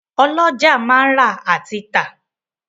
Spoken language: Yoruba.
Ọ́lọjá máa ń rà àti tà